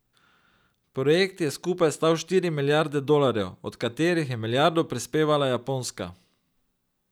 Projekt je skupaj stal štiri milijarde dolarjev, od katerih je milijardo prispevala Japonska.